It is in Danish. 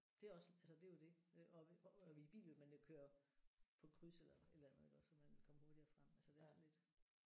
Det er også altså det er jo det øh og øh i bil ville man jo køre på kryds eller et eller andet iggås så man kom hurtigere frem altså det er sådan lidt